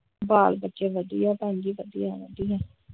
ਬਾਲ ਬੱਚੇ ਵਧੀਆ ਭੈਣ ਜੀ ਵਧੀਆ ਵਧੀਆ ।